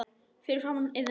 Fyrir framan Iðnó.